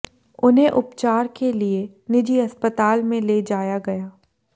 उन्हें उपचार के लिए निजी अस्पताल में ले जाया गया